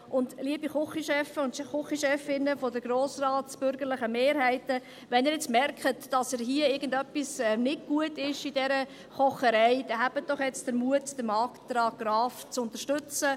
Und liebe Küchenchefs und Küchenchefinnen der bürgerlichen Grossratsmehrheiten, wenn Sie nun merken, dass hier nun etwas nicht gut ist an dieser Kocherei, dann haben Sie jetzt doch den Mut, den Antrag Graf zu unterstützen.